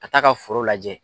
A t'a ka foro lajɛ.